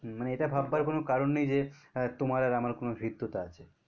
মানে এটা ভাববার কোনো কারণ নেই যে তোমার আর আমার কোনো হৃদ্যতা আছে